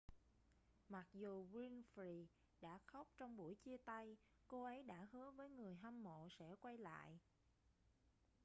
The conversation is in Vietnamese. mặc dù winfrey đã khóc trong buổi chia tay cô ấy đã hứa với người hâm mộ sẽ quay lại